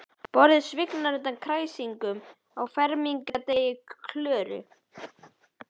Borðið svignar undan kræsingunum á fermingardegi Klöru.